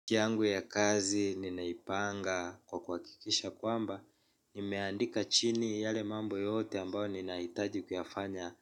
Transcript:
Wiki yangu ya kazi ninaipanga kwa kuhakikisha kwamba nimeandika chini yale mambo yote ambayo ninahitaji kuyafanya